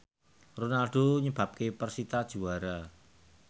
Ronaldo nyebabke persita juara